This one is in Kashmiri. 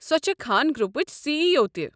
سۄ چھےٚ خان گرُپٕچ سی ای او تہِ۔